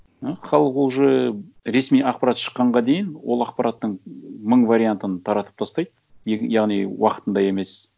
ы халық уже ресми ақпарат шыққанға дейін ол ақпараттың мың вариантын таратып тастайды яғни уақытында емес